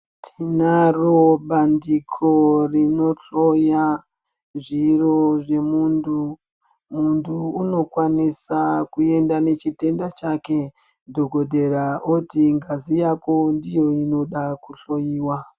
Tinaro bandiko rinohloya, zviro zvemuntu. Muntu unokwanisa kuenda nechitenda chake, dhokodhera oti ngazi yako ndiyo inoda kuhloiwa.